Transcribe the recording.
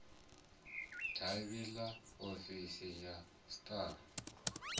davhi ḽa ofisi ya sars